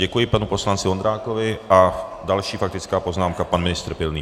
Děkuji panu poslanci Vondrákovi a další faktická poznámka pan ministr Pilný.